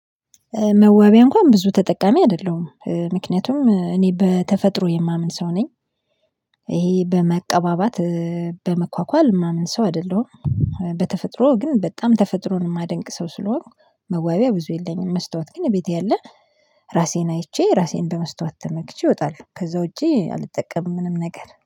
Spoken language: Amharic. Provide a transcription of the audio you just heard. መዋቢያ እንኳን ብዙ ተጠቃሚ አይደለሁም ምክንያቱም እኔ በተፈጥሮ የማምን ሰው ነኝ። ይሄ በመቀባባት በመኳኳል የማምን ሰው አይደለሁም። በተፈጥሮ ግን በጣም ተፈጥሮን የማደንቅ ሰው ስለሆንኩ መዋቢያ ብዙ የለኝም። መስታወት ግን ቤቴ ያለ ራሴን አይቼ ራሴን በመስታወት ተመክቼ እወጣለው። ከዛ ውጪ አልጠቀምም ምንም ነገር